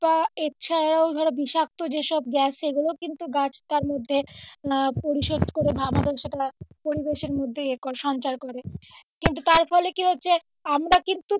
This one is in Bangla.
তা এছাড়াও ধরো বিষাক্ত জিনিস সব গ্যাস এগুলোও কিন্তু গাছ তার মধ্যে আহ পরিশোধ করে আমাদের সেটা পরিবেষের মধ্যে এ করে সঞ্চয় করে কিন্তু তার ফলে কী হচ্ছে আমরা কিন্তু,